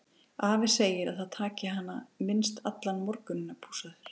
Afi segir að það taki hana minnst allan morguninn að pússa þær.